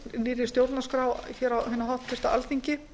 nýrri stjórnarskrá á hinu háttvirta alþingi